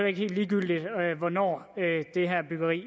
ikke helt ligegyldigt hvornår det her byggeri